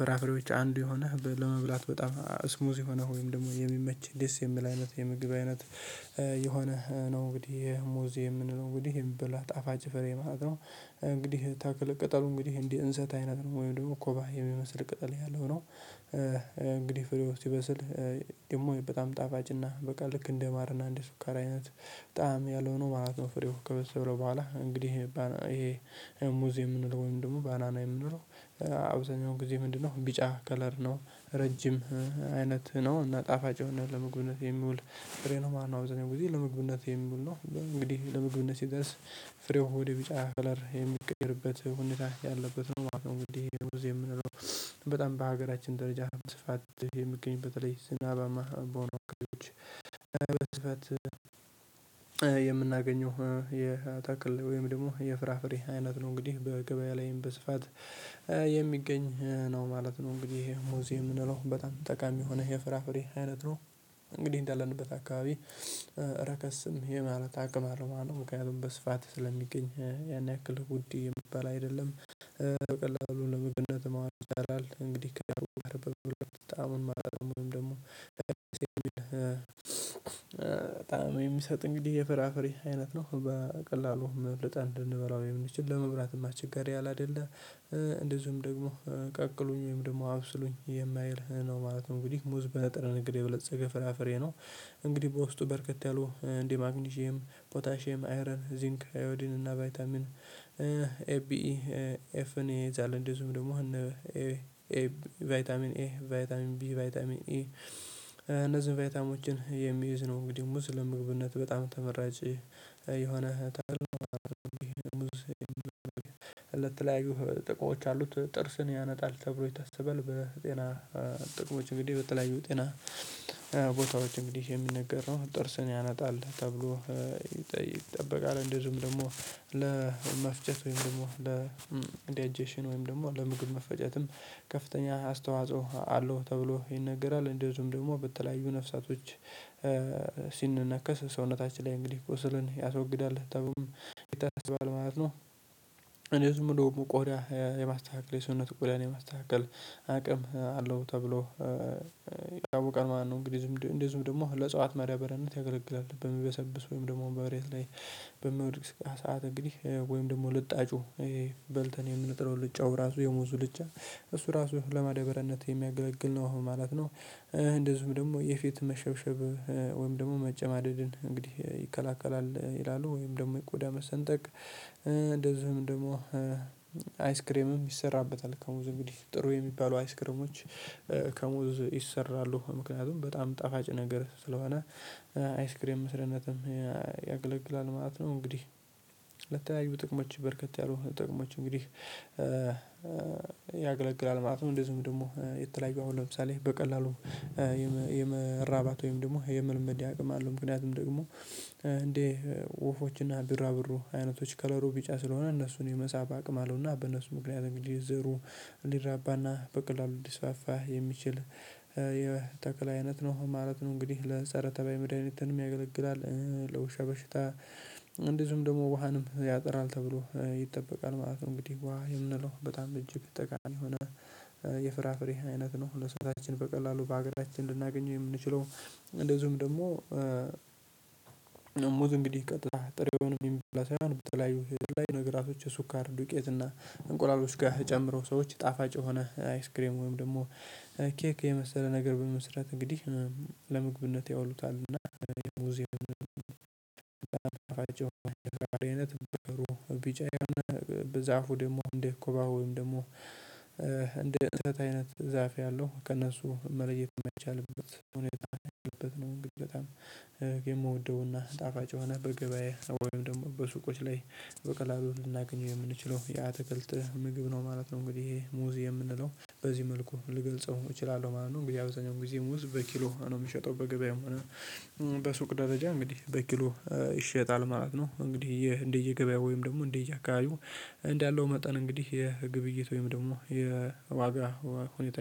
ፍራፍሬዎች አንዱ የሆነ ለመብላት በጣም ስሙዝ የሆነ ወይም ደግሞ የሚመች ደስ የሚል አይነት የምግብ አይነት የሆነ ነው። እንግዲህ ሙዝ የምንለው እንግዲህ የምንበላው ጣፋጭ ፍሬ ማለት ነው። እንግዲህ ታክል ቅጠሉ እንግዲህ እንዲህ እንሰት አይነት ነው ወይ ደግሞ ኮባ የሚመስል ቅጠል ያለው ነው። እንግዲህ ፍሬው ሲበስል ደግሞ በጣም ጣፋጭና በቃ ልክ እንደ ማርና እንደ ሱካራ አይነት ጣዕም ያለው ነው ማለት ነው። ፍሬው ከበሰለው በኋላ እንግዲህ ይሄ ሙዚ የምንለው ወይም ደግሞ ባናና የምንለው አብዛኛውን ጊዜ ምንድነው ቢጫ ከለር ነው። ረጅም አይነት ነው እና ጣፋጭ የሆነ ለምግብነት የሚውል ፍሬ ነው ማለነው። አብዛኛው ጊዜ ለምግብነቴ የሚውል ነው እንግዲህ ለምግቡነት ሲደርስ ፍሬው ወደ ቢጫ ፈለር የምቀይርበት ሁኔታ ያለበት ማለት ነው። ወይ ይሄ የምንለው በጣም በሀገራችን ደረጃ በስፋት የምገኝበት ላይ ዝናባማ በሆነ አካባቢዎች በስፋት የምናገኘው የተክል ወይም ደግሞ የፍራፍሬ አይነት ነው። እንግዲህ በገበያ ላይም በስፋት የሚገኝ ነው ማለት ነው። እንግዲህ ይሄ ሙዝ የምንለው በጣም ጠቃሚ የሆነ የፍራፍሬ አይነት ነው። እንግዲህ እንዳለንበት አካባቢ ረከስም የማለት አቅም አለው ማለት ነው። ምክንያቱም በስፋት ስለሚገኝ ያን ያክል ውድ የሚበል አይደለም በቀላሉ ለምግብነት ማዋል ይቻላል። እንግዲህ ከበቀሉ በቀሉ በጣም ማለት ነው ወይም ደግሞ ጣዕም የሚሰጥ እንግዲህ የፍራፍሬ አይነት ነው። በቀላሉ ልጠን ልንበላው የምንችል ለመብላትም እቸጋሪ ያለ አይደለ። እንደዚሁም ደግሞ ቀቅሉኝ ወይም ደግሞ አብስሉኝ የማይል ነው ማለት ነው። እንግዲህ ሙዝ በንጥረ ነገድ የበለፀገ ፍራፍሬ ነው። እንግዲህ በውስጡ በርከት ያሉ እንዲህ ማግኒዤም ፖታሼም አይረን ዚንክ አዮዲን እና ቫይታሚን ኤቢ ኢ ኤፍን ይይዛል። እንዲሁም ደግሞ እነ ኤ ኤቢ ቫይታሚን ኤ ቫይታሚን ቢ ቫይታሚን ኢ እነዚህ ቫይታሚኖችን የሚይዝ ነው። እንግዲህ ሙዝ ለምግብነት በጣም ተመራጭ የሆነ ታላቅ ሙዝ የተለያዩ ጥቅሞች አሉት። ጥርስን ያነጣል ተብሎ ይታሰበል በጤና ጥቅሞች እንግዲህ በተለያዩ ጤና ቦታዎች እንግዲህ የሚነገር ነው ጥርስን ያነጣል ተብሎ ይጠበቃል። እንደዚሁም ደግሞ ለመፍጨት ወይም ደግሞ ለዲያጀሽን ወይም ደግሞ ለምግብ መፈጨትም ከፍተኛ አስተዋጽኦ አለው ተብሎ ይነገራል። እንደዚሁም ደግሞ በተለያዩ ነፍሳቶች ሲንነከስ ሰውነታችን ላይ እንግዲህ ቁስልን ያስወግዳል ተቡም ይታሰባል ማለት ነው። እንደዚሁም ብሎ ቆዳ የማስተካከል የሰውነት ቆዳን የማስተካከል አቅም አለው ተብሎ ይታወቃል ማለት ነወሰ። እንግዲህ እንደዚሁም ደግሞ ለእጽዋት መዳባርያነት ያገለግላል በሚበሰብስ ወይም ደግሞ በመሬት ላይ በሚወድቅ ሰዓት እንግዲህ ወይም ደግሞ ልጣጩ በልተን የምንጥለው ልጫው ራሱ የሞዙ ልጫ እሱ ራሱ ለማደበሪያነት የሚያገለግል ነው። አሁን ማለት ነው። እንደዚሁም ደግሞ የፊት መሸብሸብ ወይም ደግሞ መጨማደድን እንግዲህ ይከላከላል ይላሉ ወይም ደግሞ የቆዳ መሰንጠቅ እንደዚህም ደግሞ አይስክሬምም ይሰራበታል ከሙዝ እንግዲህ ጥሩ የሚባሉ አይስክሪሞች ከሙዝ ይሰራሉ። ምክንያቱም በጣም ጣፋጭ ነገር ስለሆነ አይስክሬም መስርያነትም ያገለግላል ማለት ነው። እንግዲህ ለተለያዩ ጥቅሞች በርከት ያሉ ጥቅሞች እንግዲህ ያገለግላል ማለት ነው። እንደዚሁም ደግሞ የተለያዩ አሁን ለምሳሌ በቀላሉ የመራባት ወይም ደግሞ የመለመድ አቅም አለው። ምክንያቱም ደግሞ እንደ ወፎችና ቢራቢሮ አይነቶች ከለሩ ቢጫ ስለሆነ እነሱን የመሳብ አቅም አለውና በነሱ ምክንያት እንግዲህ ዘሩ ሊራባና በቀላሉ ሊስፉፋ የሚችል የተክል አይነት ነው ማለት ነው። እንግዲህ ለፀረ ተባይ መድሃኒትንም ያገለግላል። ለውሻ በሽታ እንዲሁም ደግሞ ውሃንም ያጥራል ተብሎ ይጠበቃል ማለት ነው። እንግዲህ ውሃ የምንለው በጣም እጅግ ተቃሚ የሆነ የፍራፍሬ አይነት ነው። ለሰውነታችን በቀላሉ በሀገራችን ልናገኘው የምንችለው እንደዚሁም ደግሞ ሙዝ እንግዲህ ቀጥታ ጥሬውን የሚበላ ሳይሆን በተለያዩ የተለያይ ነገራቶች የሱካር ዱቄት እና እንቁላሎች ጋር ተጨምሮ ሰዎች ጣፋጭ የሆነ አይስክሬም ወይም ደግሞ ኬክ የመሰለ ነገር በመስራት እንግዲህ ለምግብነት ያውሉታል። እና አይነት ጥሩ ቢጫ የሆነ በዛፉ ደግሞ እንደ ኮባ ወይም ደግሞ እንደ እንሰት አይነት ዛፍ ያለው ከእነሱ መለየት የማይቻልበት ሁኔታ ያለበት ነው። እንግዲህ በጣም የምወደውና ጣፋጭ የሆነ በገበያ ወይም ደግሞ በሱቆች ላይ በቀላሉ ልናገኘው የምንችለው የአተክልት ምግብ ነው ማለት ነው። እንግዲህ ይሄ ሙዝ የምንለው በዚህ መልኩ ልገልጸው እችላለሁ ማለት ነው። እንግዲህ አብዛኛው ጊዜ ሙዝ በኪሎ ነው የምሸጠው በገበያም ሆነው በሱቅ ደረጃ እንግዲህ በኪሎ ይሸጣል ማለት ነው። እንግዲህ ይህ እንደየገበያው ወይም ደግሞ እንደየአካባቢው እንዳለው መጠን እንግዲህ የግብይት ወይም ደግሞ የዋጋ ሁኔታ